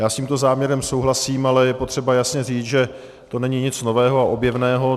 Já s tímto záměrem souhlasím, ale je potřeba jasně říct, že to není nic nového a objevného.